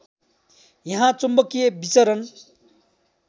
यहाँ चुम्बकिय विचरण